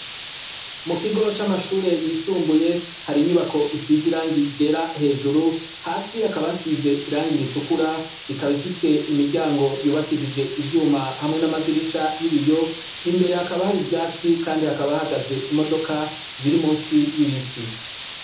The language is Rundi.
Mu kigo c'amashure yisumbuye, hari inyubako isize irangi ryera hejuru, hasi hakaba hasize irangi ritukura ikaba ifise imiryango yubakishije ivyuma hamwe n'amadirisha y'ibiyo, imbere hakaba hari ivyatsi kandi hakaba hahagaze imodoka ziri musi y'ibiti.